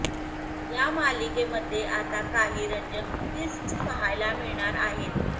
या मालिकेमध्ये आता काही रंजक ट्विस्ट्स पाहायला मिळणार आहेत